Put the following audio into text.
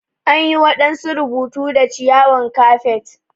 An yi wadansu rubutu da ciyawan kafet.